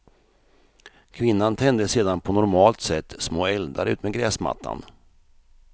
Kvinnan tände sedan på normalt sätt små eldar utmed gräsmattan.